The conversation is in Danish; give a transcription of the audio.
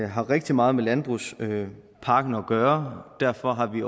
har rigtig meget med landbrugspakken at gøre derfor har vi